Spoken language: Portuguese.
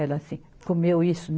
Era assim, comeu isso?